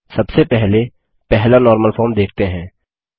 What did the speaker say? सबसे पहले पहला नॉर्मल फॉर्म देखते हैं